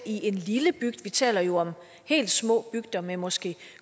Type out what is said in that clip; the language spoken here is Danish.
i en lille bygd vi taler jo om helt små bygder med måske